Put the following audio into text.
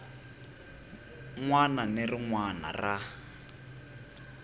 wana na rin wana ra